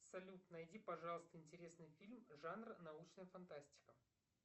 салют найди пожалуйста интересный фильм жанр научная фантастика